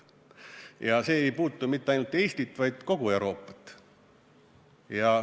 Ja see ei puuduta mitte ainult Eestit, vaid kogu Euroopat.